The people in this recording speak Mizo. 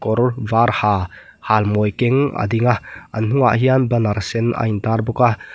kawr var ha halmawi keng a ding a an hnung ah hian banner sen a in tar bawk a.